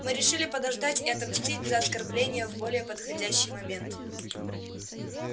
мы решили подождать и отомстить за оскорбление в более подходящий момент